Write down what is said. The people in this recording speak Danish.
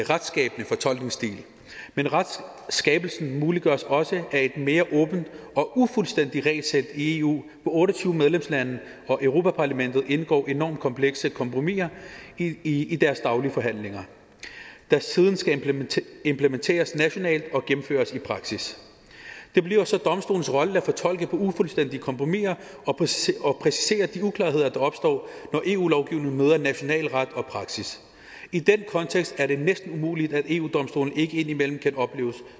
retsskabende fortolkningsstil men retsskabelsen muliggøres også af et mere åbent og ufuldstændigt regelsæt i eu hvor otte og tyve medlemslande og europa parlamentet indgår enormt komplekse kompromiser i i deres daglige forhandlinger der siden skal implementeres nationalt og gennemføres i praksis det bliver så domstolens rolle at fortolke på ufuldstændige kompromiser og præcisere og præcisere de uklarheder der opstår når eu lovgivningen møder national ret og praksis i den kontekst er det næsten umuligt at eu domstolen ikke indimellem kan opleves